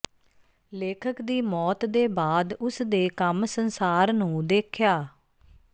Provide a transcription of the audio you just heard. ਲੇਖਕ ਦੀ ਮੌਤ ਦੇ ਬਾਅਦ ਉਸ ਦੇ ਕੰਮ ਸੰਸਾਰ ਨੂੰ ਦੇਖਿਆ